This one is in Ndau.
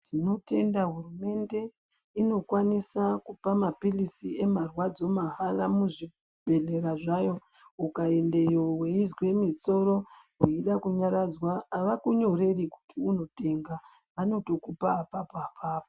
Tinotenda hurumende inokwanisa kupamaphirizi emarwadzo mahara muzvibhedhlera zvavo. Ukaendeyo weizwe musoro, weida kunyaradzwa, avakunyoreri kuti unotenga vanotokupa apapo apapo.